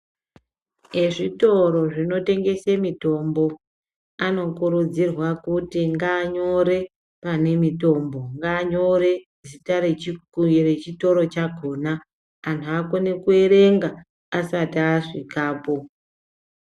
Ezvitoro zvinotengesa mitombo vanokurudzirwa kuti vanyore pane mitombo, ngavanyore zita rechitoro chacho vanhu vakone kuerenga asati asvikapo.